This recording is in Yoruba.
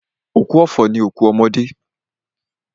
Òkú ọ̀fọ̀ ni òkú ọmọdé.